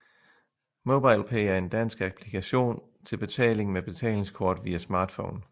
MobilePay er en dansk applikation til betaling med betalingskort via smartphone